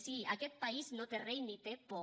sí aquest país no té rei ni té por